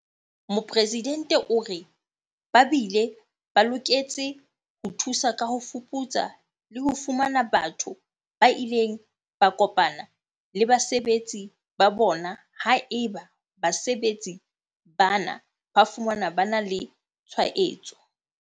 Mopresidente o re. Ba bile ba loketse ho thusa ka ho fuputsa le ho fumana batho ba ileng ba kopana le basebetsi ba bona haeba basebetsi bana ba fumanwa ba na le tshwaetso.